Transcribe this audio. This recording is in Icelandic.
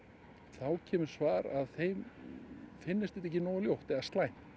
þá kemur svar að þeim finnist þetta ekki nógu slæmt